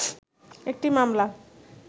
একটি মামলা